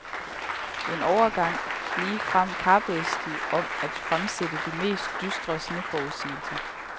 En overgang ligefrem kappedes de om at fremsætte de mest dystre sneforudsigelser.